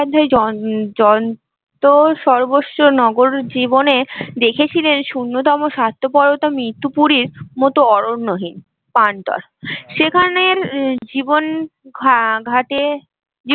য যন্ত্র সর্বস্ব জীবনে দেখেছিলেন শূন্যতম স্বার্থপরতা মৃতপুরীর মতো অরণ্যহীন প্রান্তর সেখানের জীবন ঘা ঘাতে